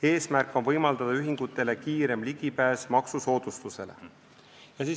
Eesmärk on võimaldada ühingutele kiirem ligipääs maksusoodustusele.